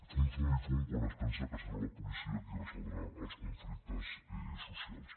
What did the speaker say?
fum fum i fum quan es pensa que serà la policia qui resoldrà els conflictes socials